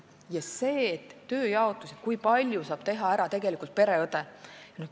Ja tööjaotus: kui palju saab tegelikult ära teha pereõde!